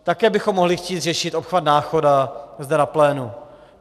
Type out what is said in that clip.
Také bychom mohli chtít řešit obchvat Náchoda zde na plénu.